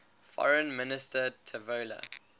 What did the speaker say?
foreign minister tavola